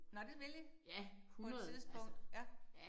Nåh det vil I? På et tidspunkt ja